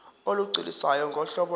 olugculisayo ngohlobo lo